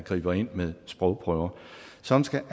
griber ind med sprogprøver som skal